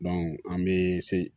an bɛ se